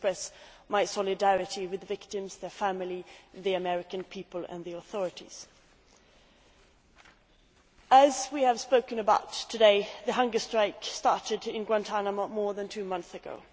I express my solidarity with the victims, their families, the American people and the authorities. As we have discussed today, the hunger strike started in Guantánamo more than two months ago.